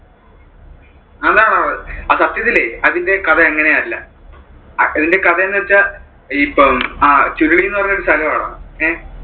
അത് അഹ് സത്യത്തിലെ അതിന്റെ കഥ അങ്ങനെ അല്ല, അതിന്റെ കഥയെന്നു വെച്ചാൽ ഈ ഇപ്പം ചുരുളി എന്ന് പറയുന്നത് ഒരു സ്ഥലം ആടാ, അഹ്